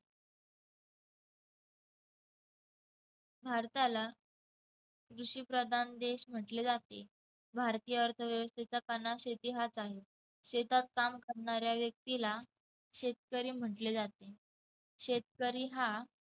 भारताला कृषिप्रधान देश म्हटले जाते. भारतीय अर्थव्यवस्थेचा कणा शेती हाच आहे. शेतात काम करणाऱ्या व्यक्तीला शेतकरी म्हटले जाते. शेतकरी हा